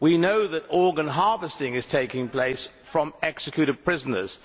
We know that organ harvesting is taking place from executed prisoners.